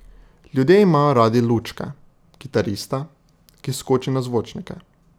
Ljudje imajo radi lučke, kitarista, ki skoči na zvočnike.